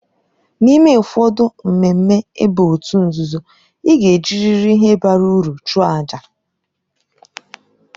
N'ime ụfọdụ mmemme ịba òtù nzuzo, ị ga-ejirịrị ihe bara uru chụọ àjà.